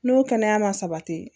N'o kɛnɛya ma sabati